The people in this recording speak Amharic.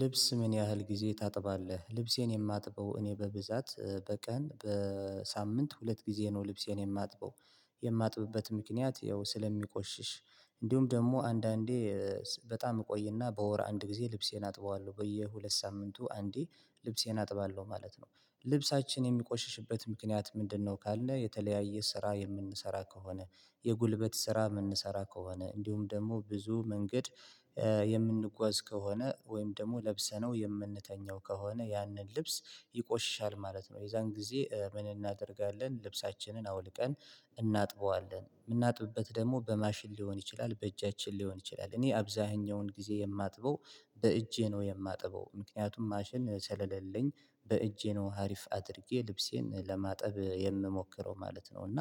ልብስ ምን ያህል ጊዜ ታጥባለህ? ልብሴን የማጥበው እኔ በብዛት፣ በቀን፣ በሳምንት ሁለት ጊዜ ነው። ልብሴን የማጥበው። የማጥብበት ምክንያት ያው፣ ስለሚቆሽሽ ነው። እንዲሁም ደግሞ አንዳንዴ ኤ በጣም እቆይና በወር አንድ ጊዜ ልብሴን አጥባለሁ። በየሁለት ሳምንቱ አንዴ ልብሴን አጥባለሁ ማለት ነው። ልብሳችን የሚቆሽሽበት ምክንያት ምንድነው ካለ፣ የተለያየ ስራ የምንሰራ ከሆነ፣ የጉልበት ስራ የምንሰራ ከሆነ፣ እንዲሁም ደግሞ ብዙ መንገድ ኤ የምንጓዝ ከሆነ፣ ወይም ደግሞ ለብሰነው የምንተኛ ከሆነ፣ ያንን ልብስ ይቆሽሻል ማለት ነው። የዚያን ጊዜ ኤ ምን እናደርጋለን? ልብሳችንን አውልቀን እናጥበዋለን። የምናጥብበት ደግሞ በማሽን ሊሆን ይችላል፣ በእጃችን ሊሆን ይችላል። እኔ አብዛኛውን ጊዜ የማጥበው በእጄ ነው የማጥበው። ምክንያቱም ማሽን ስለሌለኝ በእጄ ነው። አሪፍ አድርጌ ልብሴን ለማጠብ የምሞክረው ማለት ነው። እና